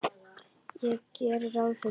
Ég geri ráð fyrir því.